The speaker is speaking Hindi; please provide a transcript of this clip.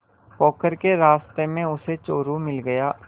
पोखर के रास्ते में उसे चोरु मिल गया